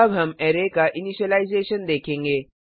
अब हम अरै का इनीशिलाइज़ेशन देखेंगे